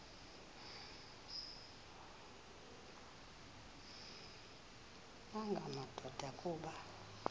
nanga madoda kuba